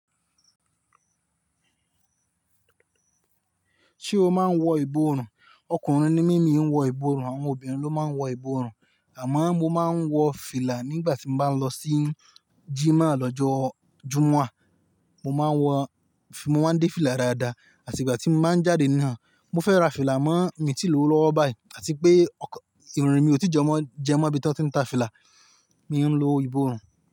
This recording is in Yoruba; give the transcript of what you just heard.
Ṣé o máa ń wọ ìbòrùn? Ọkùnrin ni mí mi ń wọ ìbòrùn, àwọn obìnrin ló máa ń wọ ìbòrùn, àmọ́ mo máa ń wọ fìlà nígbà tí mo bá ń lọ sí jímà lọ́jọ́ Jumua mo máa ń wọ, mo máa ń dé fìlà dáadáa, àti ìgbà tí mo máa ń jáde naa, mo fẹ́ ra fìlà mọ́ mí tìlórí lọ́wọ́ báyìí, àti pé ọkàn, ìrìn mi ò tí jẹmọ́, jẹmọ́ bí ó ti ń ta fìlà, mi ń lo ìbòrùn.